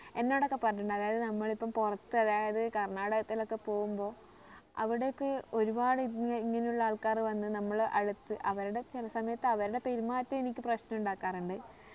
എന്നോട് ഒക്കെ പറഞ്ഞിട്ടുണ്ട് അതായത് നമ്മള് ഇപ്പം പുറത്ത് അതായത് കർണാടകത്തിൽ ഒക്കെ പോകുമ്പോ അവിടെ ഒക്കെ ഒരുപാടു ഇങ്ങനെ ഇങ്ങനെ ഉള്ള ആൾക്കാര് വന്ന് നമ്മളെ അടുത്ത് അവരുടെ ചില സമയത്ത് അവരുടെ പെരുമാറ്റം എനിക്ക് പ്രശ്നം ഉണ്ടാക്കാറുണ്ട്